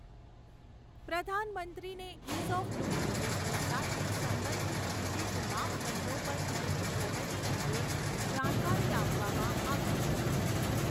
પ્રધાનમંત્રીને ease of doing business સાથે સંબંધિત વિવિધ માપદંડો પર થયેલી પ્રગતિ અંગે જાણકારી આપવામાં આવી હતી.